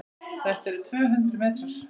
Þetta eru tvö hundruð metrar.